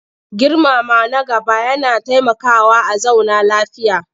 Girmama na gaba yana taimakawa a zauna lafiya.